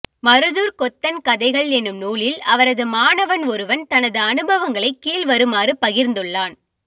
மருதூர்க் கொத்தன் கதைகள் எனும் நூலில் அவரது மாணவன் ஒருவன் தனது அனுபவங்களைக் கீழ் வருமாறு பகிர்ந்துள்ளான்